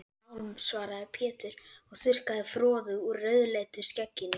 Sálm, svaraði Pétur og þurrkaði froðu úr rauðleitu skegginu.